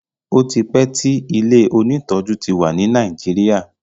otipe tí ilẹ òní tọjú tí wá ní Nàìjíríà.